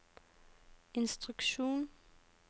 instruksjon